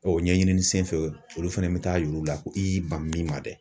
O ɲɛɲini senfɛ, olu fɛnɛ bɛ taa yir'u la, i y'i ban min ma dɛ.